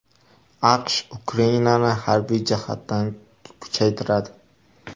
AQSh Ukrainani harbiy jihatdan kuchaytiradi.